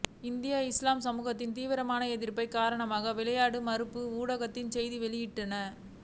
இந்திய இஸ்லாமிய சமுதாயத்தின் தீவிர எதிர்ப்பின் காரணமாக விளையாட மறுப்பதாக ஊடகங்கள் செய்தி வெளியிட்டன